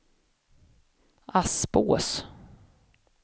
Aspås